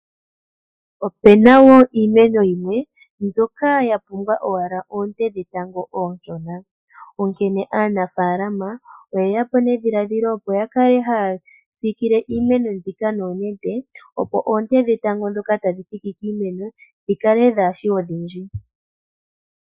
Opena woo iimeno yimwe mbyoka ya pumbwa owala oonte dhetango ooshona. Onkene aanafalama oyeya po nedhiladhilo opo ya kala haa sikile iimeno mbika nooshipe opo oonte dhetango dhoka tadhi thiki piimeno dhikale dhaashi odhindji.